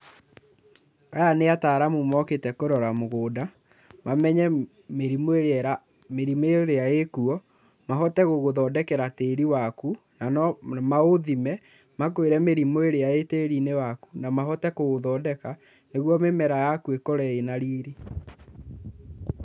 Aya nĩ ataramu mokĩte, kũrora mũgũnda, mamenye mĩrimũ ĩrĩa ĩkuo mahote gũgũthondekera tĩĩri waku. Na no maũthime mamenye mĩrimũ ĩrĩa ĩ tĩĩri-inĩ waaku mahote kũũthondeka nĩguo mĩmera yaku ĩkorwo ĩna riri.